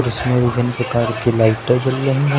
इसमें विभिन्न प्रकार की लाइटें जल रही हैं।